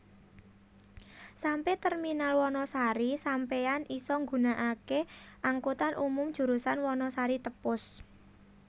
Sampe terminal Wanasari Sampeyan isa ngunaake angkutan umum jurusan Wanasari Tepus